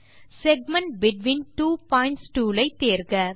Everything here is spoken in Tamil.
segment between two points tool ஐ தேர்க